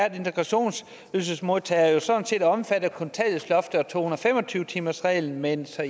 at integrationsydelsesmodtagere jo sådan set er omfattet af kontanthjælpsloftet og to hundrede og fem og tyve timersreglen men så